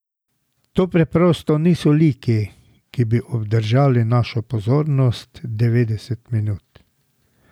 To preprosto niso liki, ki bi obdržali našo pozornost devetdeset minut.